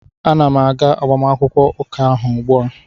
Ana m aga agbamakwụkwọ ụka ahụ ugbua